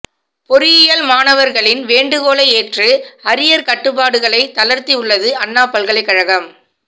பொறியியல் மாணவர்களின் வேண்டுகோளை ஏற்று அரியர் கட்டுப்பாடுகளை தளர்த்தியுள்ளது அண்ணா பல்கலைக்கழகம்